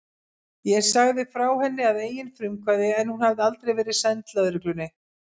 Ég sagði frá henni að eigin frumkvæði en hún hafði aldrei verið send lögreglunni.